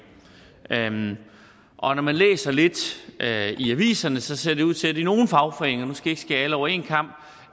og når man læser lidt i aviserne ser det ud til at i nogle fagforeninger nu skal jeg ikke skære alle over en kam